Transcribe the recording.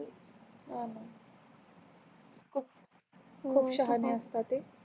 लई शहाणेअसत ते